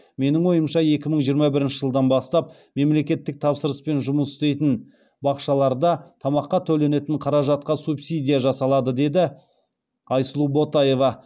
менің ойымша екі мың жиырма бірінші жылдан бастап мемлекеттік тапсырыспен жұмыс істейтін бақшаларда тамаққа төленетін қаражатқа субсидия жасалады деді айсулу ботаева